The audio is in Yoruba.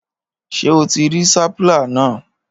Ṣé o ti rí sapala náà?